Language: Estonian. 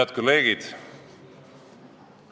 Head kolleegid!